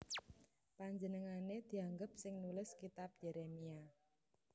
Panjenengané dianggep sing nulis Kitab Yérémia